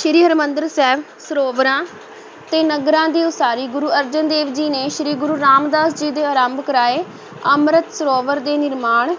ਸ੍ਰੀ ਹਰਿਮੰਦਰ ਸਾਹਿਬ, ਸਰੋਵਰਾਂ ਤੇ ਨਗਰਾਂ ਦੀ ਉਸਾਰੀ ਗੁਰੂ ਅਰਜਨ ਦੇਵ ਜੀ ਨੇ ਸ੍ਰੀ ਗੁਰੂ ਰਾਮਦਾਸ ਜੀ ਦੇ ਆਰੰਭ ਕਰਾਏ ਅੰਮ੍ਰਿਤ ਸਰੋਵਰ ਦੇ ਨਿਰਮਾਣ